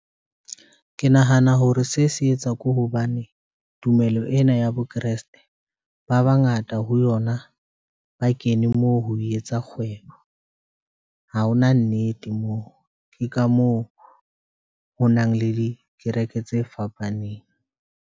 Ke nahana hore se se etsa ko hobane tumelo ena ya bo kreste ba bangata ho yona, ba kene moo ho etsa kgwebo, ha hona nnete moo ke ka moo ho nang le dikereke tse fapaneng.